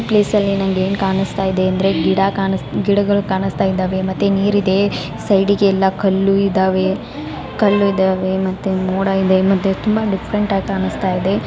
ಈ ಪ್ಲೇಸಲ್ಲಿ ನನಗೆ ಏನು ಕಾಣ್ತಾ ಇದೆ ಅಂದ್ರೆ ಗಿಡಗಳು ಕಾಣಿಸ್ತಾ ಇದೆ ಮತ್ತೆ ನೀರಿದೆ ಸೈಡಿ ಗೆಲ್ಲ ಕಲ್ಲು ಇದ್ದಾವೆ ಕಲ್ಲು ಇದಾವೆ ಮತ್ತೆ ಮೋಡ ಮತ್ತೆ ತುಂಬಾ ಡಿಫ್ರೆಂಟಾಗಿ ಕಾಣ್ತಾ ಇದೆ .